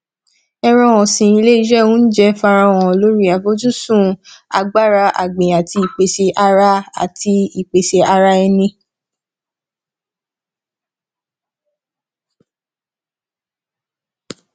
ẹran ọsin ilé iṣẹ ounjẹ farahàn lórí afojusun agbára agbìn àti ìpèsè ara àti ìpèsè ara ẹni